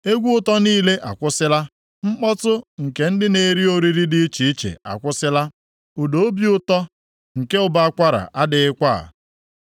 Egwu ụtọ niile akwụsịla, mkpọtụ nke ndị na-eri oriri dị iche iche akwụsịla. Ụda obi ụtọ nke ụbọ akwara adịghịkwa.